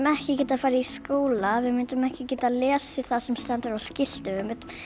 ekki geta farið í skóla við myndum ekki geta lesið það sem stendur á skiltum